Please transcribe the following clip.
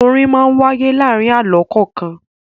Orin máa ń wáyé láàárin àlọ́ kọ̀ọ̀kan.